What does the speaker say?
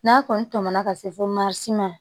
N'a kɔni tɛmɛna ka se fo ma si ma